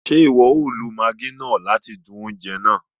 Ṣe iwọ o lo maggi náà láti dún oúnjẹ náà?